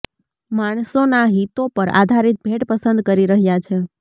માણસોના હિતો પર આધારિત ભેટ પસંદ કરી રહ્યા છે